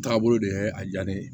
Taabolo de ye a diya ne ye